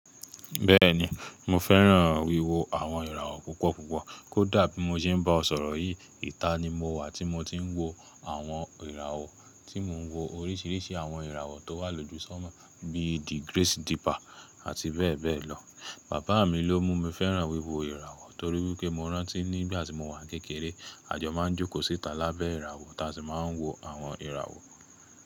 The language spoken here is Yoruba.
Bẹ́ẹ̀ni, mo fẹ́ràn wíwo àwọn ìràwọ̀ púpọ̀ púpọ̀. Kódà bí mo ṣe ń bá ọ sọ̀rọ̀ yìí, ìta ni mo wà tí mo ti ń wo àwọn ìràwọ̀, tí mò ń wo oríṣiríṣi àwọn ìràwọ̀ tó wà lójú sọ́mọ, bí i The Grace Deeper àti bẹ́ẹ̀ bẹ́ẹ̀ lọ. Bàbá mi ló mú mi fẹ́ràn wíwo ìràwọ̀ torí wipé mo rántí nígbà tí mo wà kékeré, àjọ máa ń jókòó síta lábẹ́ ìràwọ̀ táì sì máa ń wo àwọn ìràwọ̀